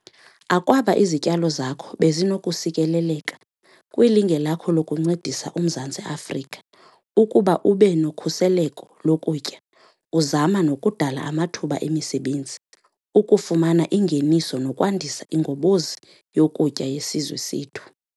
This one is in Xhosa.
Akwaba izityalo zakho bezinokusikeleleka kwilinge lakho lokuncedisa uMzantsi Afrika ukuba ube nokhuseleko lokutya, uzama nokudala amathuba emisebenzi, ukufumana ingeniso nokwandisa ingobozi yokutya yesizwe sethu.